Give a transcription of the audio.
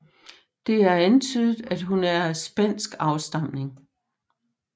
Det er antydet at hun er af spansk afstamning